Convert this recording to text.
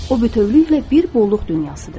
O bütövlükdə bir bolluq dünyasıdır.